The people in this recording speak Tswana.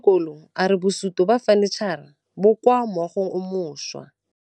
Mogokgo wa sekolo a re bosutô ba fanitšhara bo kwa moagong o mošwa.